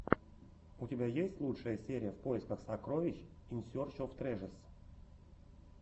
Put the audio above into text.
у тебя есть лучшая серия в поисках сокровищ ин серч оф трэжэс